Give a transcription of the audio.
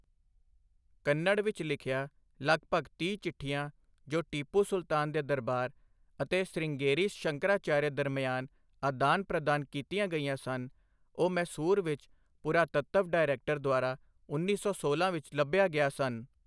ਕੰਨੜ ਵਿੱਚ ਲਿੱਖਿਆ ਲਗਭਗ ਤੀਹ ਚਿੱਠੀਆਂ, ਜੋ ਟੀਪੂ ਸੁਲਤਾਨ ਦੇ ਦਰਬਾਰ ਅਤੇ ਸ੍ਰਿੰਗੇਰੀ ਸ਼ੰਕਰਾਚਾਰੀਆ ਦਰਮਿਆਨ ਅਦਾਨ ਪ੍ਰਦਾਨ ਕੀਤੀਆਂ ਗਈਆਂ ਸਨ, ਉਹ ਮੈਸੂਰ ਵਿੱਚ ਪੁਰਾਤੱਤਵ ਡਾਇਰੈਕਟਰ ਦੁਆਰਾ ਉੱਨੀ ਸੌ ਸੋਲਾਂ ਵਿੱਚ ਲੱਭਿਆ ਗਿਆ ਸਨ।